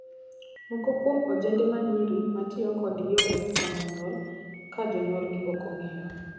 Moko kuom ojende ma nyiri ma tiyo kod yore komo nyuol ka jonyuolgi ok ong'eyo.